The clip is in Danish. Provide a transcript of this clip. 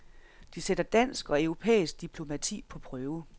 Det sætter dansk og europæisk diplomati på prøve.